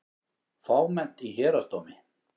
Fámennt í Héraðsdómi